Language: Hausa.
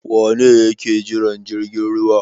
Wane ne yake jiran jirgin ruwa?